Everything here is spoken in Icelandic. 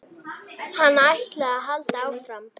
Hann ætlaði að halda áfram.